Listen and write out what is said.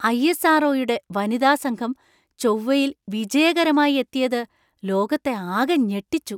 I. S. R. ഒ.യുടെ വനിതാ സംഘം ചൊവ്വയിൽ വിജയകരമായി എത്തിയത് ലോകത്തെ ആകെ ഞെട്ടിച്ചു.